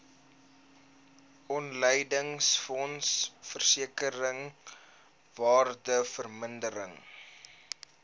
opleidingsfonds versekering waardevermindering